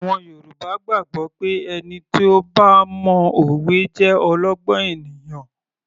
Àwọn Yorùbá gbàgbọ́ pé ẹni tí ó bá mo òwe jẹ́ olọ́gbọ́n ènìyàn